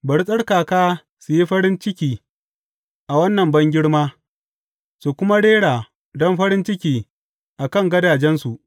Bari tsarkaka su yi farin ciki a wannan bangirma su kuma rera don farin ciki a kan gadajensu.